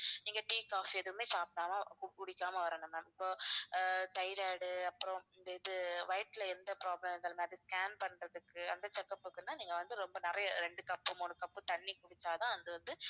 நீங்க tea, coffee எதுவுமே சாப்பிடாம கு~ குடிக்காம வரணும் ma'am இப்போ ஆஹ் thyroid அப்புறம் இந்த இது வயித்தில எந்த problem இருந்தாலுமே அது scan பண்றதுக்கு அந்த check up க்குன்னா நீங்க வந்து ரொம்ப நிறைய ரெண்டு cup மூணு cup தண்ணீ குடிச்சாதான் அது வந்து